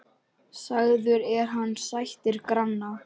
Sagður er hann sættir granna.